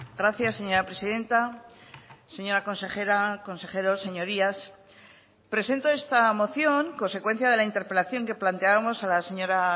gracias señora presidenta señora consejera consejeros señorías presento esta moción consecuencia de la interpelación que planteábamos a la señora